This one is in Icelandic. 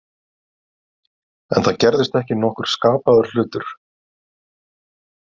En það gerðist ekki nokkur skapaður hlutur.